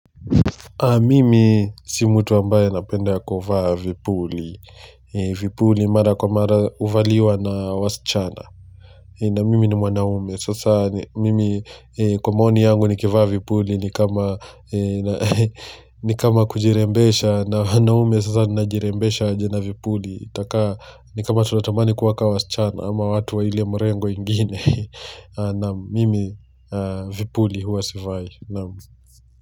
Mimi si mtu ambaye anapenda kuvaa vipuli. Vipuli mara kwa mara huvaliwa na wasichana. Na mimi ni mwanaume. Sasa mimi kwa maoni yangu nikivaa vipuli ni kama kujirembesha. Na mwanaume sasa najirembesha aje na vipuli. Itakaa ni kama tunatamani kuwa ka wasichana ama watu wa ile mrengo ingine. Naam mimi vipuli huwa sivai.